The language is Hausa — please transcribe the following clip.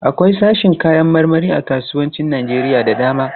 Akwai sashin kayan marmari a kasuwannin Najeriya da dama.